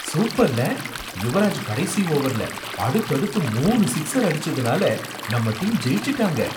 சூப்பர்ல! யுவராஜ் கடைசி ஓவர்ல அடுத்தடுத்து மூணு சிக்ஸர் அடிச்சதுனால நம்ம டீம் ஜெயிச்சுட்டாங்க.